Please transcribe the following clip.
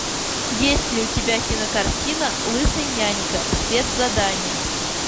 есть ли у тебя кинокартина лысый нянька спецзадание